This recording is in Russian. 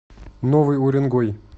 новый уренгой